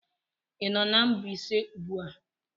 Ị nọ na Mbaise ugbu a?